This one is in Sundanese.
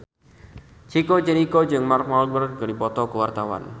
Chico Jericho jeung Mark Walberg keur dipoto ku wartawan